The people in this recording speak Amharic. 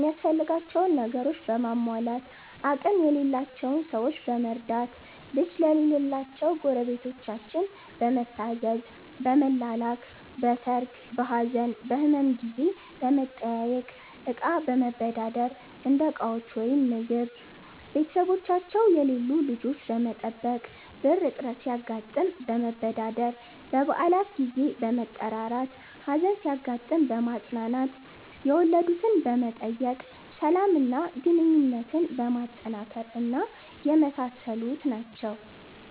ሚያስፈልጋቸውን ነገሮችን በማሟላት፣ አቅም የሌላቸውን ሠዎች በመርዳት፣ ልጅ ለሌላቸው ጎረቤታችን በመታዘዝ፣ በመላላክ፣ በሠርግ፣ በሀዘን፣ በህመም ጊዜ በመጠያየቅ፣ እቃ መበዳደር (እንደ ዕቃዎች ወይም ምግብ)፣ቤተሠቦቻቸው የሌሉ ልጆች በመጠበቅ፣ ብር እጥረት ሲያጋጥም መበዳደር፣ በበአላት ጊዜ በመጠራራት፣ ሀዘን ሲያጋጥም በማፅናናት፣ የወለድትን በመጠየቅ፣ ሠላም እና ግንኙነትን በማጠናከር እና የመሣሠሉት ናቸው።